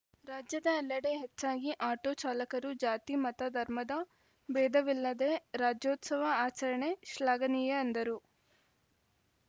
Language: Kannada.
ರಾಜ್ಯದ ಎಲ್ಲೆಡೆ ಹೆಚ್ಚಾಗಿ ಆಟೋ ಚಾಲಕರು ಜಾತಿ ಮತ ಧರ್ಮದ ಬೇಧವಿಲ್ಲದೇ ರಾಜ್ಯೋತ್ಸವ ಆಚರಣೆ ಶ್ಲಾಘನೀಯ ಎಂದರು